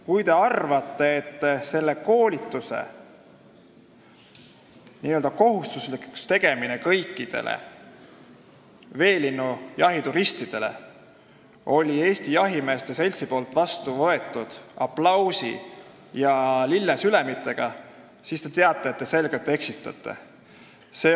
Kui te väidate, et selle koolituse n-ö kohustuslikuks tegemine kõikidele veelinnujahituristidele võeti Eesti Jahimeeste Seltsis vastu aplausi ja lillesülemitega, siis te selgelt eksitate.